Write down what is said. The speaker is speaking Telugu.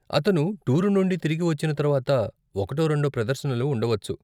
అతను టూర్ నుండి తిరిగి వచ్చిన తర్వాత ఒకటో రెండో ప్రదర్శనలు ఉండవచ్చు.